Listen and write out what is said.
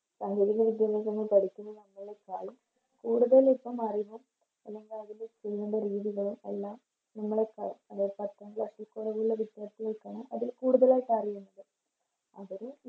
പഠിക്കുന്ന നമ്മളെക്കാളും കൂടുതലിപ്പോം അറിവും അല്ലെങ്കിൽ അതിൻറെ ചെയ്യണ്ട രീതികളും എല്ലാം നമ്മളെക്കാളും അല്ലെ പത്താം Class ൽ കുറവുള്ള കുട്ടികൾക്ക് കിട്ടണം അതിൽ കൂടുതലായിട്ട് അറിയണ്ടത് അവര്